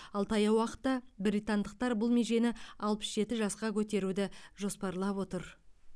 ал таяу уақытта британдықтар бұл межені алпыс жеті жасқа көтеруді жоспарлап отыр